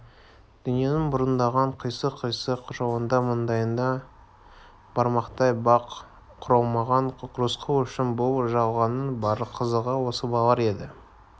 дүниенің бұраңдаған қисық-қисық жолында маңдайына бармақтай бақ құралмаған рысқұл үшін бұл жалғанның бар қызығы осы балалары еді